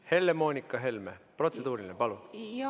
Helle-Moonika Helme, protseduuriline, palun!